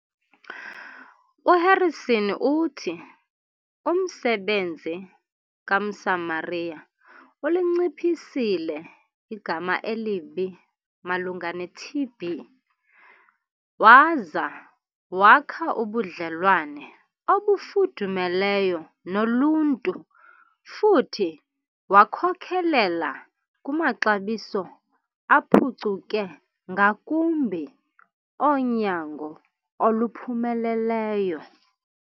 U-Harrison uthi umsebenzi ka-Mosamaria ulinciphisile igama elibi malunga ne-TB, waza wakha ubudlelwane obufudumeleyo noluntu futhi wakhokelela kumaxabiso aphucuke ngakumbi onyango oluphumeleleyo.